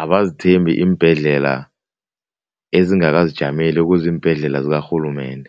abazithembi iimbhedlela ezingakazijameli ekuziimbhedlela zikarhulumende.